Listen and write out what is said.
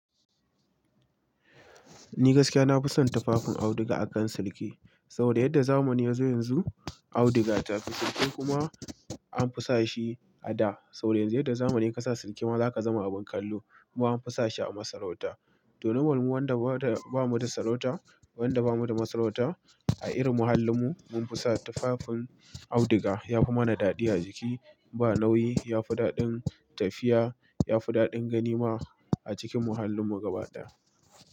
Ni gaskiya na fi son tafafin auduga akan sirki. Saboda yadda zamani yazo yanzu auduga ta fi sirki kuma an fi sa shi a da. Saboda yanzu yadda zamani kasa sirki ma zaka zama abin kallo. Kuma an fi sashi a masarauta. To, normal mu wanda bada ba mu da sarauta wanda ba mu da masarauta a irin muhallinmu mun fi sa tafafin auduga yafi mana daɗi a jiki ba nauyi yafi daɗin tafiya yafi daɗin gani ma a cikin muhallin mu gabaɗaya.